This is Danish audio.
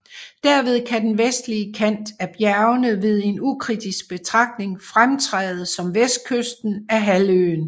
Derved kan den vestlige kant af bjergene ved en ukritisk betragtning fremtræde som vestkysten af halvøen